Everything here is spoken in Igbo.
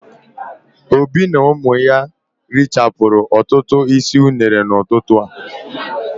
Obi na ụmụ ya richara otu isi unere n'ụtụtụ a.